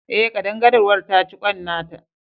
Ae, ƙadangaruwar ta ci kwan nata